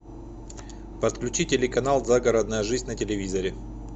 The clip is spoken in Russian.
подключи телеканал загородная жизнь на телевизоре